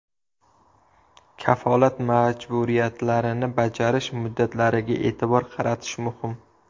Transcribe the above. Kafolat majburiyatlarini bajarish muddatlariga e’tibor qaratish muhim.